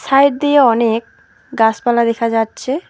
Side দিয়া অনেক গাছপালা দেখা যাচ্ছে।